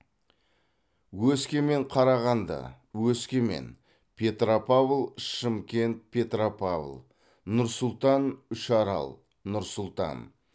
өскемен қарағанды өскемен петропавл шымкент петропавл нұр сұлтан үшарал нұр сұлтан